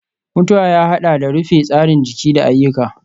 mutuwa ya haɗa da rufe tsarin jiki da ayyuka.